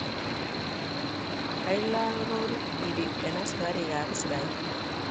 kailal rorit piriik en asikariik ap israel